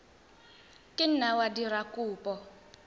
ka nna wa dira kopo